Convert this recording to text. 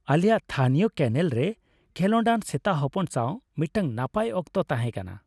ᱟᱞᱮᱭᱟᱜ ᱛᱷᱟᱹᱱᱤᱭᱚ ᱠᱮᱱᱮᱞ ᱨᱮ ᱠᱷᱮᱞᱳᱰᱟᱱ ᱥᱮᱛᱟ ᱦᱚᱯᱚᱱ ᱥᱟᱶ ᱢᱤᱫᱴᱟᱝ ᱱᱟᱯᱟᱭ ᱚᱠᱛᱚ ᱛᱟᱦᱮᱸᱠᱟᱱᱟ ᱾